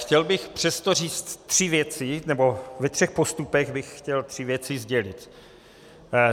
Chtěl bych přesto říct tři věci, nebo ve třech postupech bych chtěl tři věci sdělit.